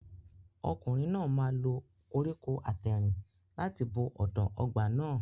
Ọkùnrin náà máa lo koríko àtẹ̀rìn láti bo ọ̀dàn ọgbà náà.